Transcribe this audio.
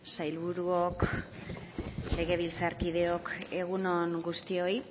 sailburuok legebiltzarkideok egun on guztioi